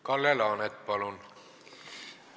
Kalle Laanet, palun!